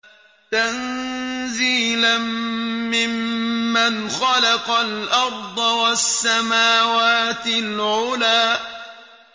تَنزِيلًا مِّمَّنْ خَلَقَ الْأَرْضَ وَالسَّمَاوَاتِ الْعُلَى